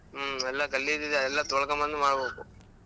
ಹ್ಮ್ ಎಲ್ಲಾ ಗಲೀಜ್ ಇದೆ ಎಲ್ಲಾ ತೊಳೊಕೊಂಡ್ ಬಂದು ಮಾಡ್ಬೇಕು.